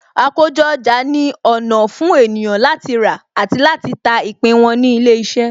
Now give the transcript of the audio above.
Àkójọ ọjà ni ọ̀nà fún ènìyàn láti rà àti ta ìpín wọn ní ilé iṣẹ́.